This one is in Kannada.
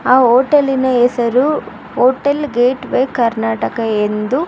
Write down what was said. ಆ ಓಟೆಲಿ ನ ಹೆಸರು ಹೋಟೆಲ್ ಗೇಟ್ ವೆ ಕರ್ನಾಟಕ ಎಂದು --